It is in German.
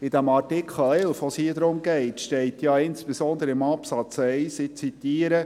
In Artikel 11, um den es hier geht, steht ja insbesondere im Absatz 1, ich zitiere: